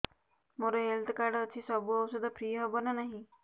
ମୋର health card ଅଛି ସବୁ ଔଷଧ ଫ୍ରି ହବ ନା ନାହିଁ